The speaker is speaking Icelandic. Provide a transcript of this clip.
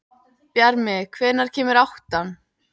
Bjarmi, hvenær kemur áttan?